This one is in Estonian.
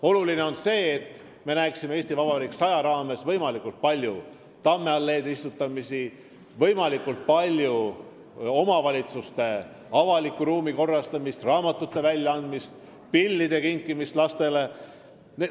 Oluline on ka see, et me näeksime "Eesti Vabariik 100" ürituste raames võimalikult palju tammealleede istutamisi, omavalitsuste avaliku ruumi korrastamist, raamatute väljaandmist, pillide kinkimist lastele.